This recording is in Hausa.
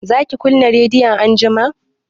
zaki kunna rediyo anjima?